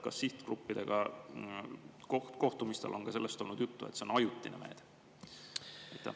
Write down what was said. Kas sihtgruppidega kohtumistel on ka olnud juttu sellest, et see on ajutine meede?